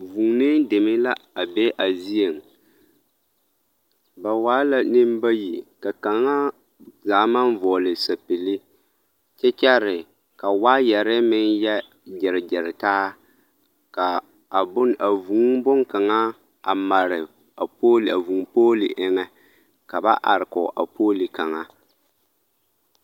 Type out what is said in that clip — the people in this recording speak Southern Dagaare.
Vuunee deme la a be a zieŋ, ba waa la nembayi ka kaŋa zaa maŋ vɔɔle sapili kyɛ kyɛre ka waayɛre meŋ yɛ gyeregyere taa k'a a bone a vūū bone kaŋa a mare a vūū pooli eŋɛ ka ba are kɔɔ a pooli kaŋa.